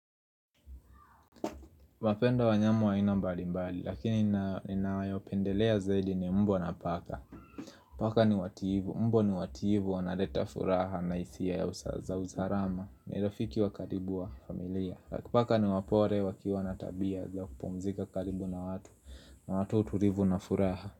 Napenda wanyama wa aina mbali mbali lakini nina ninayopendelea zaidi ni mbwa na paka Paka ni watiifu, mbwa ni watiifu wanaleta furaha na hisia ya za usalama. Ni rafiki wa karibu wa familia. Paka ni wapole wakiwa na tabia za kupumzika karibu na watu na watu tulivu na furaha.